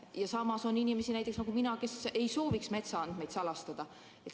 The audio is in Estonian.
Ja samas on inimesi, näiteks nagu mina, kes ei sooviks metsaandmeid salastada.